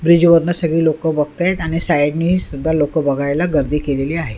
ब्रिजवरन सगळी लोक बघतायेत आणि साईडने सुद्धा लोक बघायला गर्दी केलेली आहे.